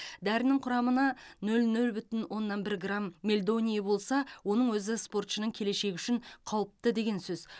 дәрінің құрамына нөл нөл бүтін оннан бір грам мельдоний болса оның өзі спортшының келешегі үшін қауіпті деген сөз